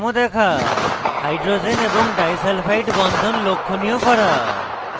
hydrogen এবং disulphide বন্ধন লক্ষনীয় করা